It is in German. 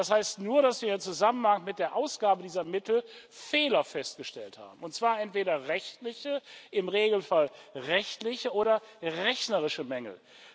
Das heißt nur, dass wir im Zusammenhang mit der Ausgabe dieser Mittel Fehler festgestellt haben, und zwar entweder rechtliche, im Regelfall rechtliche oder rechnerische Mängel.